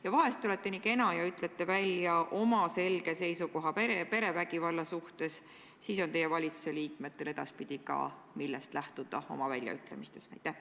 Ja vahest olete nii kena ja ütlete välja oma selge seisukoha perevägivalla suhtes, siis teie valitsuse liikmetel edaspidi on, millest oma väljaütlemistes lähtuda.